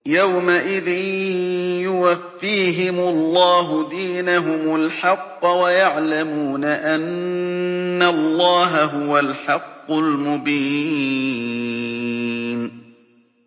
يَوْمَئِذٍ يُوَفِّيهِمُ اللَّهُ دِينَهُمُ الْحَقَّ وَيَعْلَمُونَ أَنَّ اللَّهَ هُوَ الْحَقُّ الْمُبِينُ